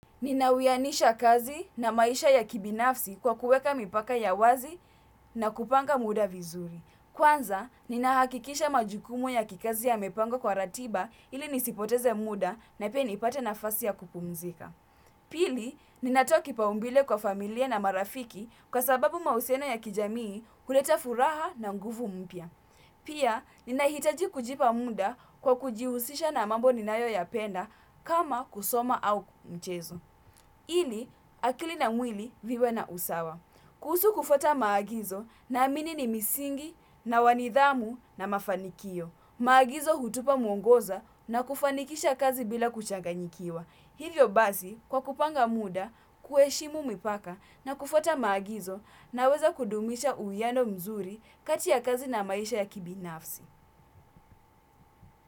Ninawianisha kazi na maisha ya kibinafsi kwa kuweka mipaka ya wazi na kupanga muda vizuri. Kwanza, ninahakikisha majukumu ya kikazi yamepangwa kwa ratiba ili nisipoteze muda na pia nipate nafasi ya kupumzika. Pili, ninatoa kipaumbele kwa familia na marafiki kwa sababu mahusiano ya kijamii huleta furaha na nguvu mpya. Pia, ninahitaji kujipa muda kwa kujihusisha na mambo ninayoyapenda kama kusoma au mchezo. Ili akili na mwili viwe na usawa. Kuhusu kufuata maagizo naamini ni misingi na wa nidhamu na mafanikio. Maagizo hutupa mwongoza na kufanikisha kazi bila kuchanganyikiwa. Hivyo basi kwa kupanga muda, kuheshimu mipaka na kufuata maagizo naweza kudumisha uwiano mzuri kati ya kazi na maisha ya kibinafsi.